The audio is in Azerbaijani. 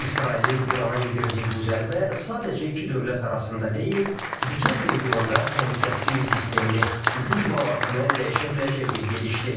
İsrailin İrana endirdiyi bu zərbə sadəcə iki dövlət arasında deyil, bütöv regionda təhlükəsizlik sistemini, güc balansını dəyişə biləcək bir gedişdir.